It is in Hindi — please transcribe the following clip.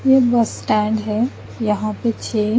ये एक बस स्टेंड है यहा पे छे--